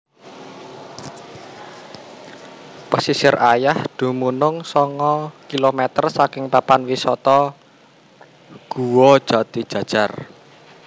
Pasisir Ayah dumunung sanga kilometer saking papan wisata Guwa Jatijajar